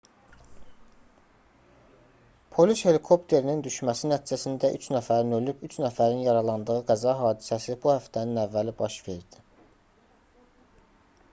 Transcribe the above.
polis helikopterinin düşməsi nəticəsində üç nəfərin ölüb üç nəfərin yaralandığı qəza hadisəsi bu həftənin əvvəli baş verdi